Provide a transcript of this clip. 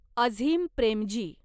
Azeem Premji